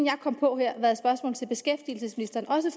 kom på her har været spørgsmål til beskæftigelsesministeren også